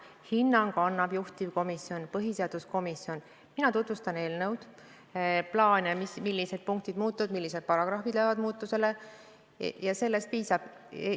Hinnangu annab juhtivkomisjon põhiseaduskomisjon, mina tutvustan eelnõu, plaane, millised punktid muutuvad, millised paragrahvid lähevad muutusele, ja sellest piisab.